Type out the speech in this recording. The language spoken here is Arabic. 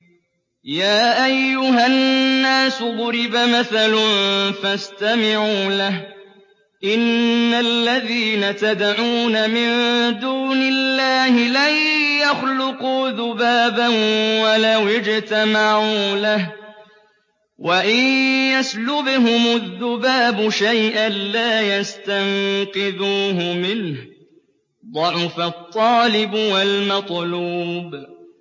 يَا أَيُّهَا النَّاسُ ضُرِبَ مَثَلٌ فَاسْتَمِعُوا لَهُ ۚ إِنَّ الَّذِينَ تَدْعُونَ مِن دُونِ اللَّهِ لَن يَخْلُقُوا ذُبَابًا وَلَوِ اجْتَمَعُوا لَهُ ۖ وَإِن يَسْلُبْهُمُ الذُّبَابُ شَيْئًا لَّا يَسْتَنقِذُوهُ مِنْهُ ۚ ضَعُفَ الطَّالِبُ وَالْمَطْلُوبُ